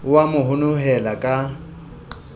o a mo honohela ka